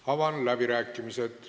Avan läbirääkimised.